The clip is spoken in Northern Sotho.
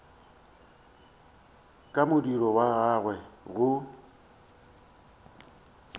ka modiro wa gagwe go